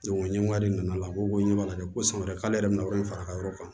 ɲɛmɔgɔ de nana la n ko ɲɛ b'a la ko san wɛrɛ k'ale yɛrɛ bɛ na yɔrɔ in fara ka yɔrɔ kan